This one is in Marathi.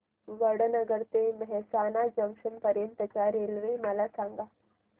वडनगर ते मेहसाणा जंक्शन पर्यंत च्या रेल्वे मला सांगा